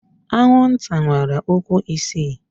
Anwụnta nwere ụkwụ isii.